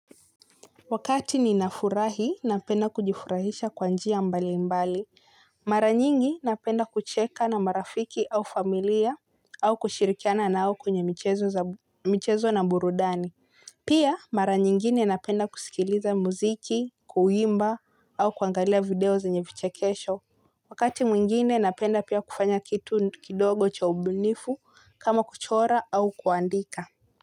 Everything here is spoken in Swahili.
Wakati ninafurahi, napenda kujifurahisha kwa njia mbalimbali. Mara nyingi, napenda kucheka na marafiki au familia au kushirikiana nao kwenye michezo na burudani. Pia, mara nyingine napenda kusikiliza muziki, kuimba au kuangalia video zenye vichekesho. Wakati mwingine, napenda pia kufanya kitu kidogo cha ubunifu kama kuchora au kuandika.